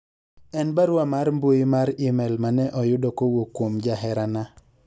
en barua mar mbui mar email mane ayudo kowuok kuom jaherana